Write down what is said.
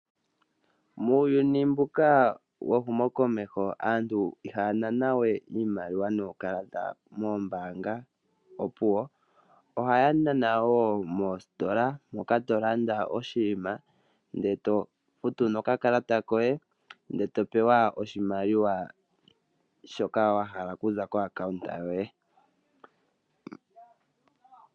Muuyuni mbuka wehumokomeho aantu ihaya nana we nuukalata moombanga opuwo, ohaya nana wo moositola. Moka to landa oshinima ndele to futu nokakalata koye ndele to pewa oshimaliwa shoka wahala okuza kompungulilo yoye.